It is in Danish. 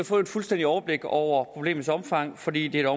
få et fuldstændigt overblik over problemets omfang fordi det er